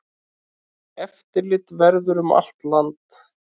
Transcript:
Eftirlit verði um land allt.